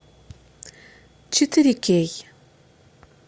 четыре кей